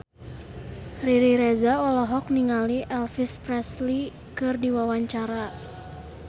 Riri Reza olohok ningali Elvis Presley keur diwawancara